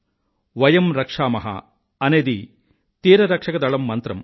వయం రక్షామహ అనేది తీరరక్షక దళం మంత్రం